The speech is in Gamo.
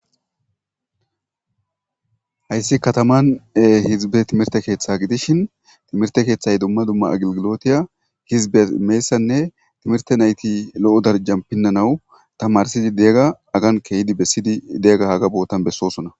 Hayisi kataman hizibe timirte keeththa gidishin timirte keeththay dumma dumma ageligilotiya hizibes imiyayisanne nusat nayiti lo'o daraja pinanawu tamarisizi deiyaga haga keizi desidi deiyaga haga botan besosona.